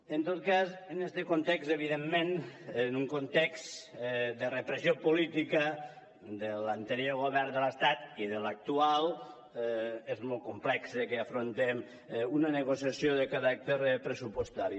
en tot cas en este context evidentment en un context de repressió política de l’anterior govern de l’estat i de l’actual és molt complex que afrontem una negociació de caràcter pressupostari